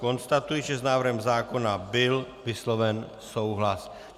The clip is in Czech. Konstatuji, že s návrhem zákona byl vysloven souhlas.